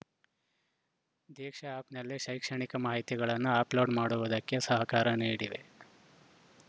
ದೀಕ್ಷಾ ಆ್ಯಪ್‌ನಲ್ಲಿ ಶೈಕ್ಷಣಿಕ ಮಾಹಿತಿಗಳನ್ನು ಅಪ್‌ಲೋಡ್‌ ಮಾಡುವುದಕ್ಕೆ ಸಹಕಾರ ನೀಡಿವೆ